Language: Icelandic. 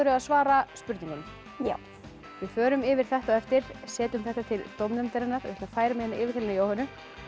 að svara spurningunum já við förum yfir þetta á eftir setjum þetta til dómnefndarinnar ég ætla að færa mig yfir til Jóhönnu